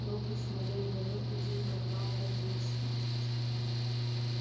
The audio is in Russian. роботс модель дв и день когда он родился